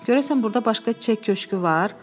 Görəsən burda başqa çiçək köşkü var?